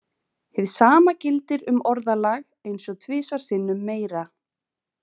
Hið sama gildir um orðalag eins og tvisvar sinnum meira.